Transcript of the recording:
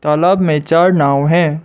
तालाब में चार नाव हैं।